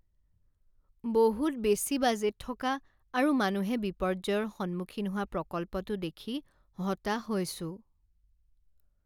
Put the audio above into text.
বহুত বেছি বাজেট থকা আৰু মানুহে বিপৰ্যয়ৰ সন্মুখীন হোৱা প্ৰকল্পটো দেখি হতাশ হৈছোঁ।